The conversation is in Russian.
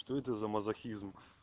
что это за мазохизм